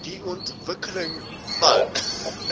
die ontwikkeling van